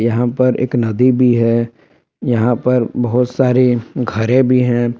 यहां पर एक नदी भी है यहां पर बहोत सारे घरे भी हैं।